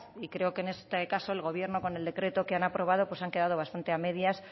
y creo que en este caso el gobierno con el decreto que han aprobado se han quedado bastante a medias